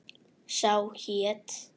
Sá hét